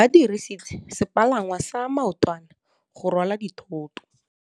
Ba dirisitse sepalangwasa maotwana go rwala dithôtô.